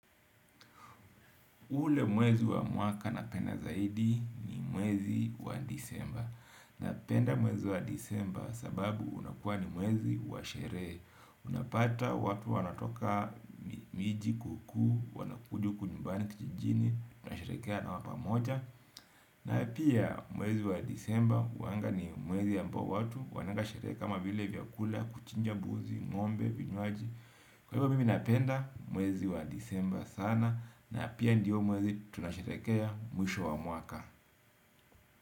Ule mwezi wa mwaka napenda zaidi ni mwezi wa disemba. Napenda mwezi wa disemba sababu unakuwa ni mwezi wa sherehe. Unapata watu wanatoka miji kukuu, wanakuja huku nyumbani kijijini, na sherekea nao pamoja. Na pia mwezi wa disemba uwanga ni mwezi ya ambao watu wananga sherehe kama vile vya kula, kuchinja buzi, ng'ombe, vinywaji. Kwa hivyo mimi napenda mwezi wa disemba sana. Na pia ndiyo mwezi tunasherekea mwisho wa mwaka.